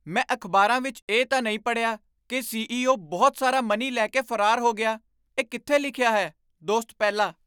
ਮੈਂ ਅਖ਼ਬਾਰਾਂ ਵਿੱਚ ਇਹ ਤਾਂ ਨਹੀਂ ਪੜ੍ਹਿਆ ਕੀ ਸੀ.ਈ.ਓ. ਬਹੁਤ ਸਾਰਾ ਮਨੀ ਲੈ ਕੇ ਫਰਾਰ ਹੋ ਗਿਆ ਇਹ ਕਿੱਥੇ ਲਿਖਿਆ ਹੈ? ਦੋਸਤ ਪਹਿਲਾ